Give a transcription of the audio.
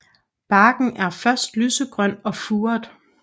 Barken er først lysegrøn og furet